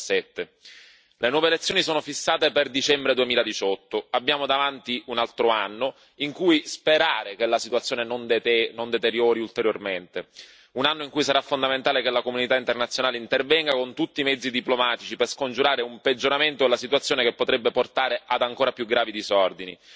2017. Le nuove elezioni sono fissate per dicembre 2018 abbiamo davanti un altro anno in cui sperare che la situazione non si deteriori ulteriormente, un anno in cui sarà fondamentale che la comunità internazionale intervenga con tutti i mezzi diplomatici per scongiurare un peggioramento della situazione che potrebbe portare ad ancora più gravi disordini.